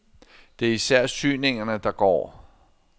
Det er især syningerne, der går.